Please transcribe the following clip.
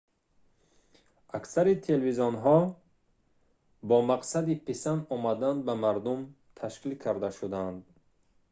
аксари телевизионҳо бо мақсади писанд омадан ба мардум ташкил карда шудаанд